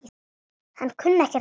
Hann kunni ekkert á þetta.